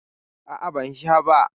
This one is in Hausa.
A'a, ban sha ba.